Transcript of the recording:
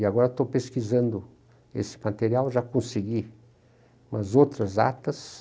E agora estou pesquisando esse material, já consegui umas outras atas.